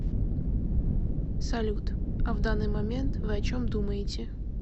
салют а в данный момент вы о чем думаете